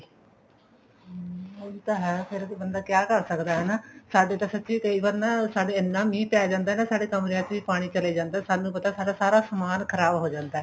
ਹਮ ਉਹੀ ਤਾਂ ਹੈ ਬੰਦਾ ਕਿਆ ਕਰ ਸਕਦਾ ਸਾਡੇ ਤਾਂ ਸੱਚੀ ਕਈ ਵਾਰ ਨਾ ਸਾਡੇ ਇੰਨਾ ਮੀਂਹ ਪੈ ਜਾਂਦਾ ਨਾ ਸਾਡੇ ਕਮਰਿਆਂ ਚ ਵੀ ਪਾਣੀ ਚਲਾ ਜਾਂਦਾ ਸਾਨੂੰ ਪਤਾ ਸਾਡਾ ਸਾਰਾ ਸਮਾਨ ਖਰਾਬ ਹੋ ਜਾਂਦਾ